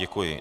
Děkuji.